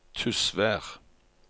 Tysvær